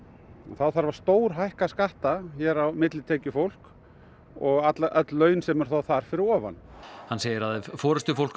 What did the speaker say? þá þarf að stórhækka skatta á millitekjufólk og öll laun sem eru þar fyrir ofan hann segir að ef forystufólk